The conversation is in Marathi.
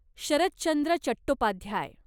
शरत चंद्र चट्टोपाध्याय